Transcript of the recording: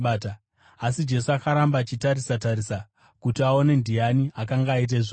Asi Jesu akaramba achitarisa-tarisa kuti aone kuti ndiani akanga aita izvozvo.